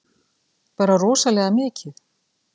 Bara rosalega mikið.